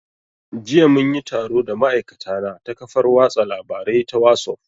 Jiya mun yi taro da ma'aikatana ta kafar watsa labarai ta wasuf